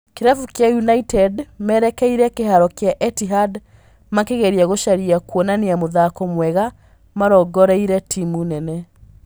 Kĩrabu kĩa United merekeire kĩharo kĩa Etihad makegeria gũcaria kwonania mũthako mwega marongoreirie timũ nene